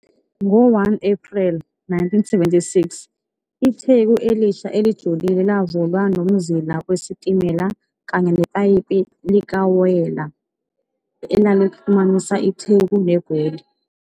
Ngo-1 April 1976, itheku elisha elujilile lavulwa nomzila wesitimela kanye nepayipi likawoyela elalixhumanisa itheku neGoli.